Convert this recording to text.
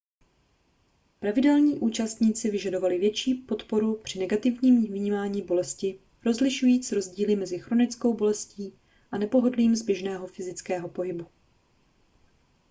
pravidelní účastníci vyžadovali větší podporu při negativním vnímání bolesti rozlišujíc rozdíly mezi chronickou bolestí a nepohodlím z běžného fyzického pohybu